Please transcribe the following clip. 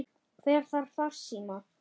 Hver þarf farsíma?